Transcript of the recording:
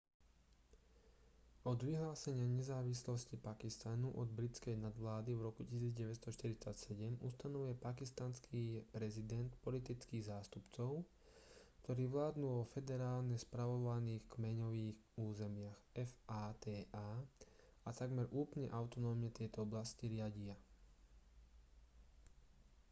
od vyhlásenia nezávislosti pakistanu od britskej nadvlády v roku 1947 ustanovuje pakistanský prezident politických zástupcov ktorí vládnu vo federálne spravovaných kmeňových územiach fata a takmer úplne autonómne tieto oblasti riadia